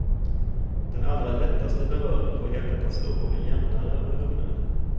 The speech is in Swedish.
Den allra lättaste beröring får hjärtat att slå både jämnare och lugnare.